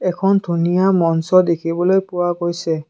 এখন ধুনীয়া মঞ্চ দেখিবলৈ পোৱা গৈছে।